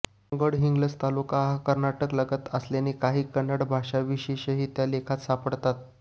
गडहिंग्लज तालुका हा कर्नाटकालगत असल्याने काही कन्नड भाषाविशेषही त्या लेखात सापडतात